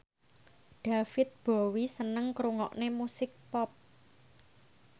David Bowie seneng ngrungokne musik pop